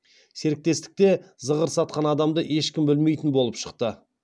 серіктестікте зығыр сатқан адамды ешкім білмейтін болып шықты